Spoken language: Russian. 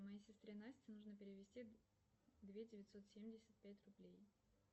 моей сестре насте нужно перевести две девятьсот семьдесят пять рублей